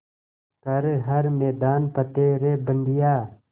कर हर मैदान फ़तेह रे बंदेया